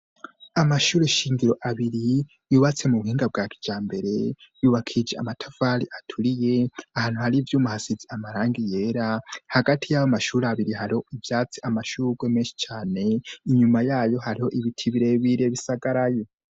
Amashure shingiro abiri yubatse mu buhinga bwa kijambere yubakishije amatafari aturiye ahantu hari ivyuma hasize amarangi yera hagati y'ayo mashuri abiri hari ivyatsi amashurwe menshi cane inyuma yayo hariho ibiti birebire bisagaraye.